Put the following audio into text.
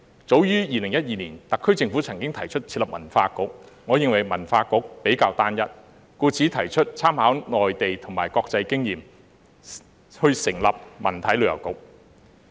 早於2012年，特區政府曾提出設立文化局，我認為文化局比較單一，故此提出參考內地及國際經驗，成立文體旅遊局。